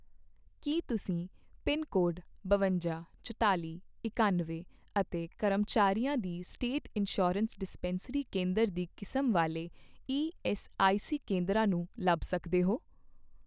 ਕੀ ਤੁਸੀਂ pin code ਬਵੰਜਾ, ਚੁਤਾਲ਼ੀ, ਇਕਾਨਵੇਂ ਅਤੇ ਕਰਮਚਾਰੀਆਂ ਦੀ ਸਟੇਟ ਇੰਸ਼ਯੁਰੇਂਸ ਡਿਸਪੇਂਸਰੀ ਕੇਂਦਰ ਦੀ ਕਿਸਮ ਵਾਲੇ ਈਐੱਸਆਈਸੀ ਕੇਂਦਰਾਂ ਨੂੰ ਲੱਭ ਸਕਦੇ ਹੋ?